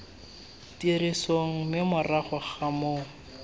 tirisong mme morago ga moo